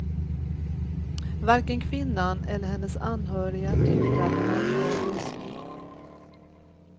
Varken kvinnan eller hennes anhöriga tyckte att det var en bra lösning.